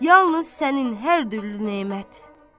Yalnız sənin hər türlü nemət.